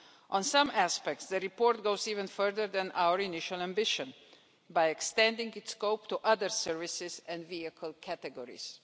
On some aspects the report goes even further than our initial ambition, by extending its scope to other services and vehicle categories.